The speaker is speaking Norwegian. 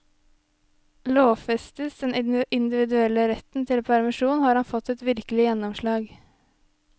Lovfestes den individuelle retten til permisjon har han fått et viktig gjennomslag.